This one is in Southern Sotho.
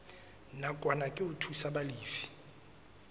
nakwana ke ho thusa balefi